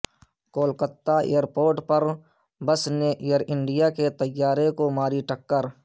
Kolkata airport پر bus نے Air India کے طیارے کو ماری ٹکر